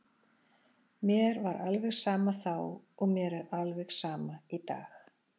Mér var alveg sama þá og mér er alveg sama í dag.